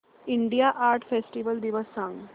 India art festival दिवस सांग